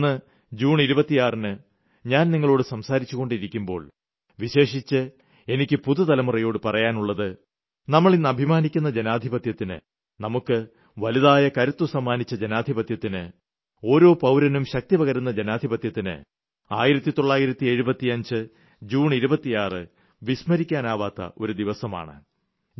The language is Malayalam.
എന്നാൽ ഇന്ന് ജൂൺ 26ന് ഞാൻ നിങ്ങളോട് സംസാരിച്ചുകൊണ്ടിരിക്കുമ്പോൾ വിശേഷിച്ച് എനിയ്ക്ക് പുതുതലമുറയോട് പറയാനുള്ളത് നമ്മൾ ഇന്ന് അഭിമാനിക്കുന്ന ജനാധിപത്യത്തിന് നമുക്ക് വലുതായ കരുത്തു സമ്മാനിച്ച ജനാധിപത്യത്തിന് ഓരോ പൌരനും ശക്തിപകരുന്ന ജനാധിപത്യത്തിന് 1975 ജൂൺ 26 വിസ്മരിക്കാനാവാത്ത ഒരു ദിവസമാണ്